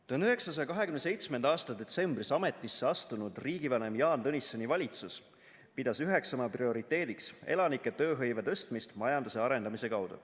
1927. aasta detsembris ametisse astunud riigivanema Jaan Tõnissoni valitsus pidas üheks oma prioriteediks elanike tööhõive tõstmist majanduse arendamise kaudu.